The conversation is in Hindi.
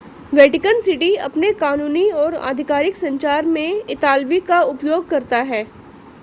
वैटिकन सिटी अपने कानूनी और आधिकारिक संचार में इतालवी का उपयोग करता है